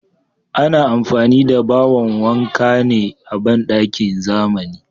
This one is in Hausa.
Ana amfani da bawon wanka ne a bandakin zamani.